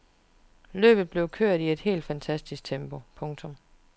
Løbet blevet kørt i et helt fantastisk tempo. punktum